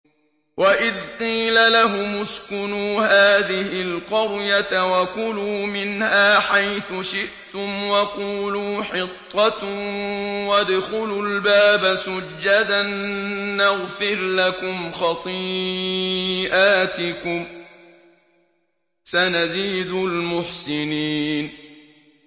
وَإِذْ قِيلَ لَهُمُ اسْكُنُوا هَٰذِهِ الْقَرْيَةَ وَكُلُوا مِنْهَا حَيْثُ شِئْتُمْ وَقُولُوا حِطَّةٌ وَادْخُلُوا الْبَابَ سُجَّدًا نَّغْفِرْ لَكُمْ خَطِيئَاتِكُمْ ۚ سَنَزِيدُ الْمُحْسِنِينَ